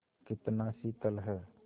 कितना शीतल है